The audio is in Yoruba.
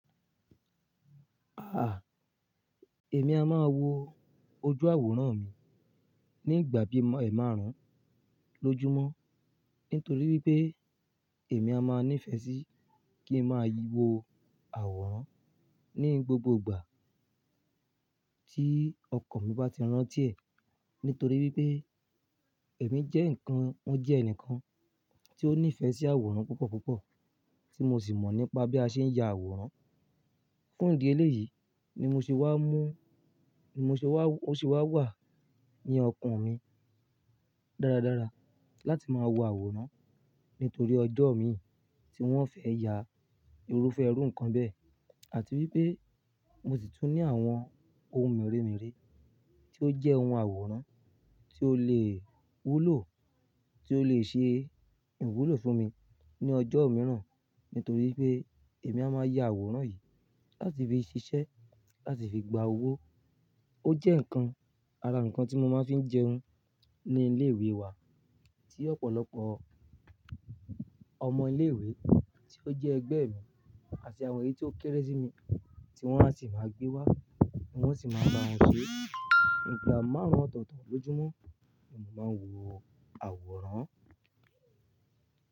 Ah, èmi a máa wo ojú àwòrán mi nígbà bí ẹ̀ márùn-ún lójúmọ́. Nítorí pé èmi a máa nífẹ̀ẹ́ sí kí n máa wo àwòrán ní gbogbo ìgbà tí ọkàn mi bá ti rántí ẹ̀. Nítorí wípé èmi jẹ́ ǹkan, mo jẹ́ ẹnìkan tí ó nífẹ̀ẹ́ sí àwòrán púpọ̀ púpọ̀, tí mo sì mọ̀ nípa bí a ṣe ń ya àwòrán. Fún ìdí eléyìí ni mo ṣe wá mú, ni mo ṣe wá, ó ṣe wá wà ní ọkàn mi dáradára láti máa wo àwòrán. Nítorí ọjọ́ mi tí wọ́n fẹ́ ya, irúfẹ́ ẹrú ǹkan bẹ́ẹ̀, àti wípé mo sì tún ní àwọn ohun mèremère tí ó jẹ́ ohun àwòrán tí ó lè wúlò, tí ó lè ṣe ìwúlò fún mi ní ọjọ́ mìíràn. Nítorí pé èmi a máa ya àwòrán yìí láti fi ṣiṣẹ́, láti fi gba owó. Ó jẹ́ ǹkan ara ǹkan tí mo máa ń fi ń jẹun ní ilé ìwé wa ni ọ̀pọ̀lọpọ̀ ọmọ ilé ìwé tí ó jẹ́ ẹgbẹ́ mi àti àwọn èyí tí ó kéré sí mi tí wọ́n á sì máa gbé wá, ní oun o sì máa bá wọn ṣe. Ígbà márùn-ún ọ̀tọ̀ọ̀tọ̀ lójúmọ́ ni mo máa ń wo àwòrán.